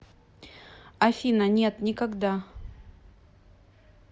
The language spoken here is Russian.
афина нет никогда